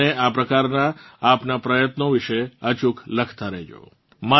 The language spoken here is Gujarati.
તમે મને આ પ્રકારનાં આપનાં પ્રયત્નો વિશે અચૂક લખતાં રહેજો